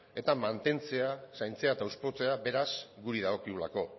eta mantentzea zaintzea eta hauspotzea guri dagokigulako